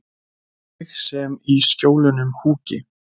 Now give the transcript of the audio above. Ég sem í Skjólunum húki.